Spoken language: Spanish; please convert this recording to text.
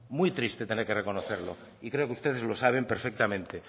muy triste tener que reconocerlo y creo que ustedes lo saben perfectamente